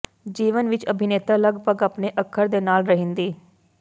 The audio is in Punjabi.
ਜੀਵਨ ਵਿਚ ਅਭਿਨੇਤਾ ਲਗਭਗ ਆਪਣੇ ਅੱਖਰ ਦੇ ਨਾਲ ਰਹਿਣ ਦੀ